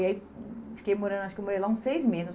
E aí fiquei morando, acho que eu morei lá uns seis meses.